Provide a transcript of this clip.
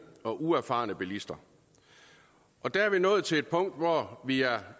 og uerfarne bilister og der er vi nået til et punkt hvor vi er